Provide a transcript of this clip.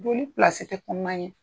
Joli pilasi tɛ kɔnɔan ye.